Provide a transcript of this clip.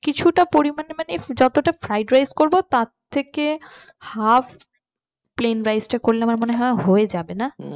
কিছুটা পরিমাণে মানে যতটা fried rice করব তার থেকে half plane rice টা করলে আমার মনে হয় হয়ে যাবে না